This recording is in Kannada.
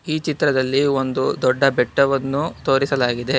ಈ ಚಿತ್ರದಲ್ಲಿ ಒಂದು ದೊಡ್ಡ ಬೆಟ್ಟವನ್ನು ತೋರಿಸಲಾಗಿದೆ.